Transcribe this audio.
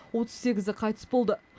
отыз сегізі қайтыс болды